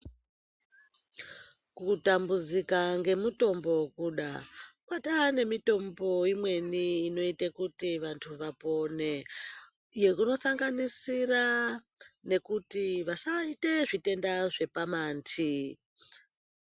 Kutambudzika ngemutombo kuda. Kwataane mitombo imweni inoite kuti vantu vapone, unosanganisira nekuti vasaite zvitenda zvepamanti.